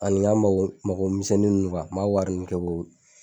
Ani n ka mago mago misɛnnin ninnu n m'a wari kɛ ko